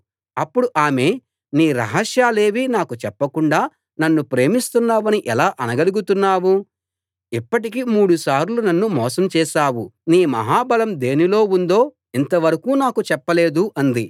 అప్పుడు ఆమె నీ రహస్యాలేవీ నాకు చెప్పకుండా నన్ను ప్రేమిస్తున్నానని ఎలా అనగలుగుతున్నావు ఇప్పటికి మూడు సార్లు నన్ను మోసం చేశావు నీ మహాబలం దేనిలో ఉందో ఇంతవరకూ నాకు చెప్పలేదు అంది